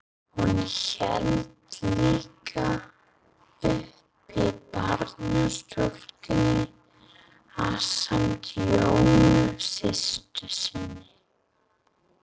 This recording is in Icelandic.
Hún hélt líka uppi barnastúkunni ásamt Jónu systur sinni.